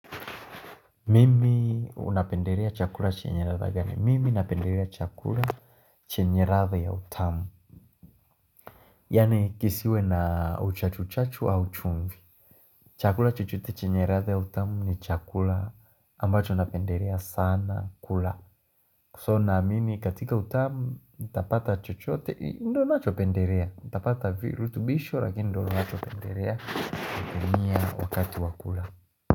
Mimi unapendelea chakula chenye ladha gani? Mimi napendelea chakula chenye ladha ya utamu. Yaani kisiwe na uchachu chachu au chumvi. Chakula chochote chenye ladha ya utamu ni chakula ambacho napendelea sana kula. So na mimi katika utamu nitapata chochote ndo nacho pendelea, nitapata virutubisho lakini ndo nacho pendelea. Kini ya wakati wakula.